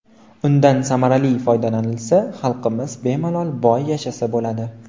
Undan samarali foydalanilsa, xalqimiz bemalol boy yashasa bo‘ladi.